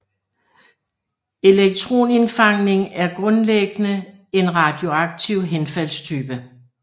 Elektronindfangning er grundlæggende en radioaktivt henfaldstype